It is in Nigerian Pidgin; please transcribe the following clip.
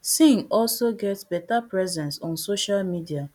singh also get better presence on social media